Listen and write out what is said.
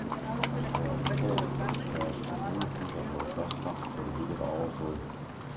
Der var totalt trafikkaos, og nogle busser nåede først frem, da det hele var overstået.